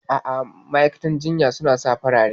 A'a, ma'aikatan jinya suna sa farare.